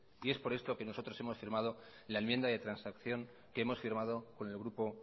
es por esto que nosotros hemos firmado la enmienda de transacción que hemos firmado con el grupo